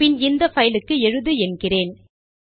பின் இந்த பைல் க்கு எழுது என்கிறேன்